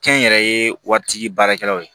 Kɛnyɛrɛye waritigi baarakɛlaw